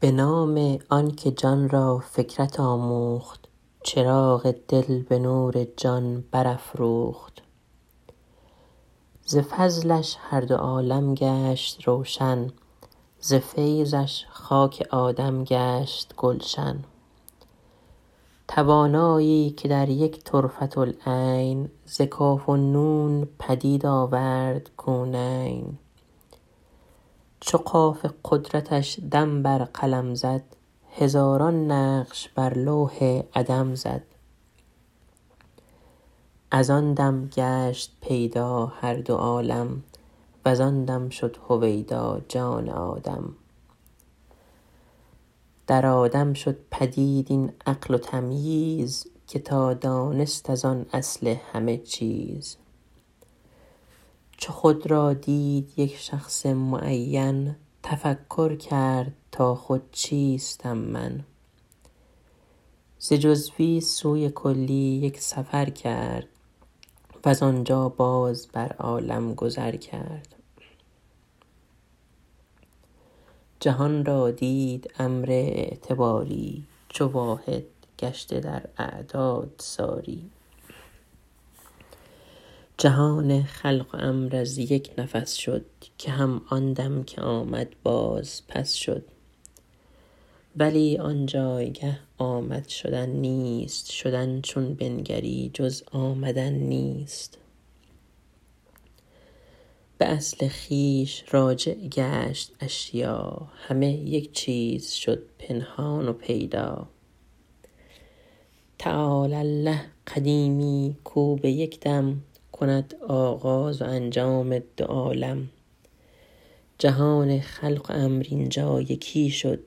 به نام آن که جان را فکرت آموخت چراغ دل به نور جان برافروخت ز فضلش هر دو عالم گشت روشن ز فیضش خاک آدم گشت گلشن توانایی که در یک طرفةالعین ز کاف و نون پدید آورد کونین چو قاف قدرتش دم بر قلم زد هزاران نقش بر لوح عدم زد از آن دم گشت پیدا هر دو عالم وز آن دم شد هویدا جان آدم در آدم شد پدید این عقل و تمییز که تا دانست از آن اصل همه چیز چو خود را دید یک شخص معین تفکر کرد تا خود چیستم من ز جزوی سوی کلی یک سفر کرد وز آنجا باز بر عالم گذر کرد جهان را دید امر اعتباری چو واحد گشته در اعداد ساری جهان خلق و امر از یک نفس شد که هم آن دم که آمد باز پس شد ولی آن جایگه آمد شدن نیست شدن چون بنگری جز آمدن نیست به اصل خویش راجع گشت اشیا همه یک چیز شد پنهان و پیدا تعالی الله قدیمی کو به یک دم کند آغاز و انجام دو عالم جهان خلق و امر اینجا یکی شد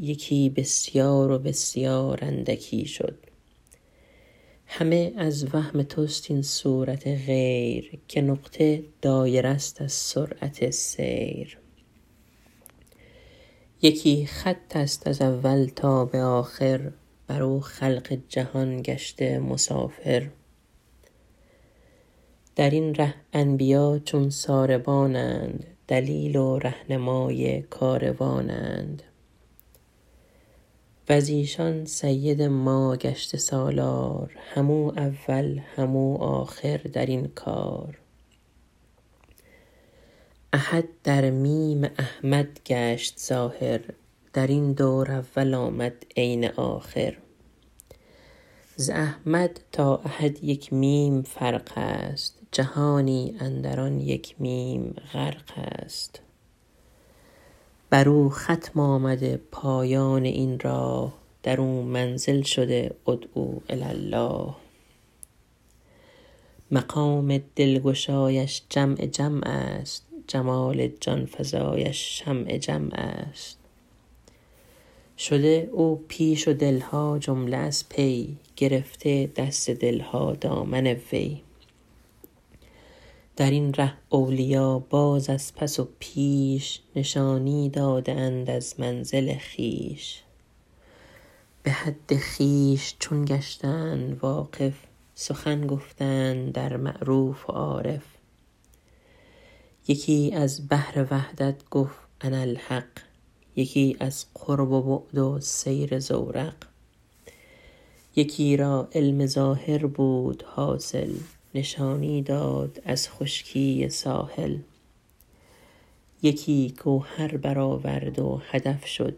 یکی بسیار و بسیار اندکی شد همه از وهم توست این صورت غیر که نقطه دایره ست از سرعت سیر یکی خط است از اول تا به آخر بر او خلق جهان گشته مسافر در این ره انبیا چون ساربانند دلیل و رهنمای کاروانند وز ایشان سید ما گشته سالار هم او اول هم او آخر در این کار احد در میم احمد گشت ظاهر در این دور اول آمد عین آخر ز احمد تا احد یک میم فرق است جهانی اندر آن یک میم غرق است بر او ختم آمده پایان این راه در او منزل شده ادعوا الی الله مقام دلگشایش جمع جمع است جمال جانفزایش شمع جمع است شده او پیش و دل ها جمله از پی گرفته دست دل ها دامن وی در این ره اولیا باز از پس و پیش نشانی داده اند از منزل خویش به حد خویش چون گشتند واقف سخن گفتند در معروف و عارف یکی از بحر وحدت گفت انا الحق یکی از قرب و بعد و سیر زورق یکی را علم ظاهر بود حاصل نشانی داد از خشکی ساحل یکی گوهر برآورد و هدف شد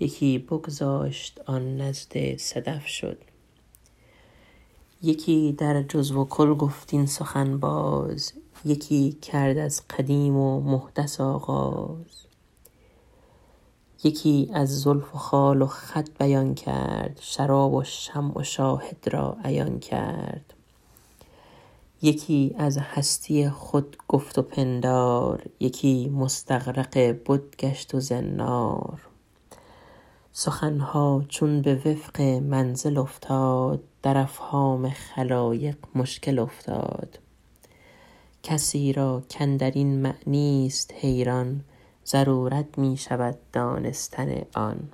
یکی بگذاشت آن نزد صدف شد یکی در جزو و کل گفت این سخن باز یکی کرد از قدیم و محدث آغاز یکی از زلف و خال و خط بیان کرد شراب و شمع و شاهد را عیان کرد یکی از هستی خود گفت و پندار یکی مستغرق بت گشت و زنار سخن ها چون به وفق منزل افتاد در افهام خلایق مشکل افتاد کسی را کاندر این معنی است حیران ضرورت می شود دانستن آن